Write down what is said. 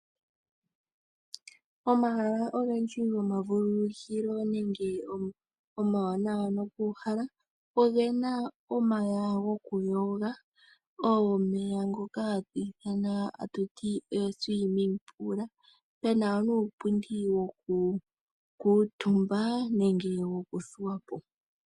Omahala ogendji gomavululukilo nenge omawanawa nokuuhala oge na omeya gokuyoga omeya ngoka hatu ithana a tuti oSwimming Pool ge na nuupundi wokukutumba nenge wokuthuwapo.